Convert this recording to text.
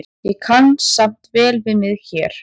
Ég kann samt vel við mig hér.